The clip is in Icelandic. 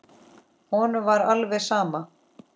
Honum var alveg sama.